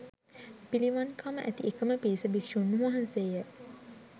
පිළිවන්කම ඇති එකම පිරිස භික්ෂූන් වහන්සේය